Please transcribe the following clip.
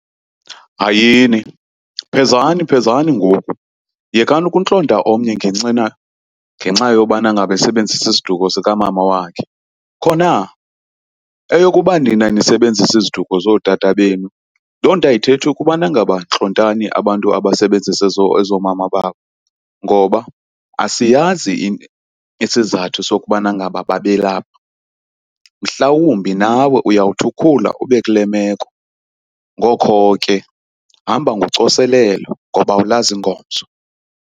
Hayini, phezani phezani ngoku! Yekani ukuntlonta omnye ngenxa yobana ngaba esebenzisa isiduko sikamama wakhe. Khona, eyokuba nina nisebenzisa iziduko zotata benu loo nto ayithethi ukubana ngaba ntlontani abantu abasebenzisa ezoomama babo ngoba asiyazi isizathu sokubana ngaba babe lapha. Mhlawumbi nawe uyawuthi ukhula ube kule meko ngokho ke hamba ngocoselelo ngoba awulazi ingomso.